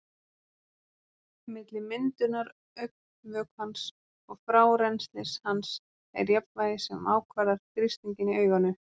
Milli myndunar augnvökvans og frárennslis hans er jafnvægi sem ákvarðar þrýstinginn í auganu.